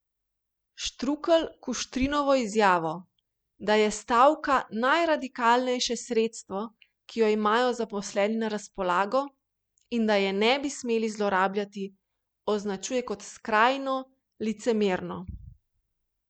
Štrukelj Kuštrinovo izjavo, da je stavka najradikalnejše sredstvo, ki jo imajo zaposleni na razpolago, in da je ne bi smeli zlorabljati, označuje kot skrajno licemerno.